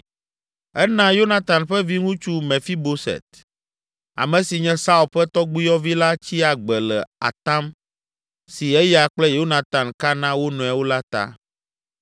Ena Yonatan ƒe viŋutsu Mefiboset, ame si nye Saul ƒe tɔgbuiyɔvi la tsi agbe le atam si eya kple Yonatan ka na wo nɔewo la ta.